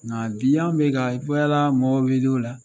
Nka bi an bɛ ka mɔbiliw la.